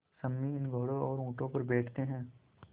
सम्मी इन घोड़ों और ऊँटों पर बैठते हैं